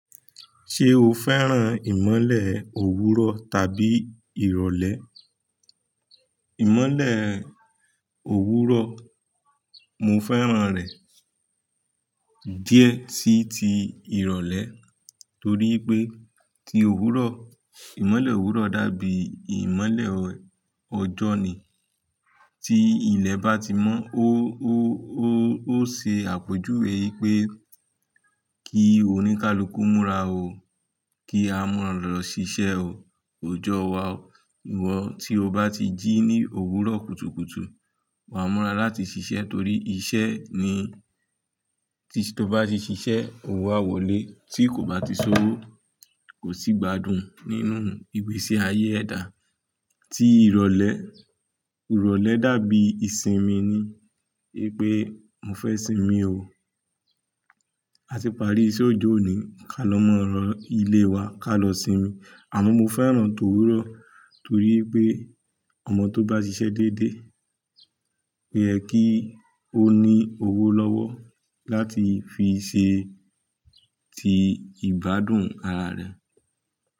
Ṣé o fẹ́ràn ìmọ́lẹ̀ òwúrọ̀ tàbí ìrọ̀lẹ́? Ìmọ́lẹ̀ òwúrọ̀, mo fẹ́ràn rẹ̀ díẹ̀ tí ti ìrọ̀lẹ́ torí pé ti òwúrọ̀, ìmọ́lẹ̀ òwúrọ̀ dàbí ìmọ́lẹ̀ ọjọ́ ni. Tí ilẹ̀ bá ti mọ́, ó ṣe àpọ̀jù ìwé pé kí oníkálukú múra o, kí a múra lọ ṣiṣẹ́ o, ọjọ́ wa o. Ìwọ tí o bá ti jí ní òwúrọ̀ kùtùkùtù, wà múra láti ṣiṣẹ́ torí iṣẹ́ ni, tí to bá ti ṣiṣẹ́, owó a wọlé tí kò bá ti ṣọ́wọ́ kò sì gbádùn nínú ìgbésí ayé ẹ̀dá. Tí ìrọ̀lẹ́, ìrọ̀lẹ́ dàbí ìsinmi ni. Gẹ́gẹ́ bí mo fẹ́ sinmi o, a ti parí iṣẹ́ ọjọ́ òní, ká lọ múra ilé wa, ká lọ sinmi. Àmọ́ mo fẹ́ràn tòwúrọ̀ torí pé ọmọ tó bá ṣiṣẹ́ dédé, o yẹ kí ó ní owó lọ́wọ́ láti fi ṣe ti ìgbádùn ara rẹ̀.